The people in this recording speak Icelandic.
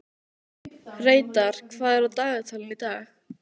Reidar, hvað er á dagatalinu í dag?